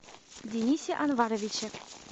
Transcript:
денисе анваровиче